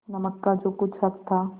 नमक का जो कुछ हक था